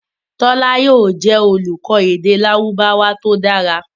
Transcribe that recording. Tola yóò jẹ olùkọ èdè Lárúbáwá to dára